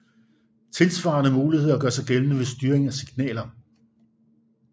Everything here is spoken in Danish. Tilsvarende muligheder gør sig gældende ved styring af signaler